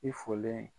I folen